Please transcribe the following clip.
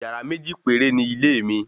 Yàrá méjì péré ni ilé mi